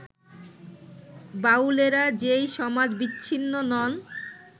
বাউলেরা যে সমাজবিচ্ছিন্ন নন